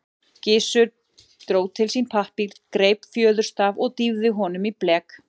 Gizur dró til sín pappír, greip fjöðurstaf og dýfði honum í blek.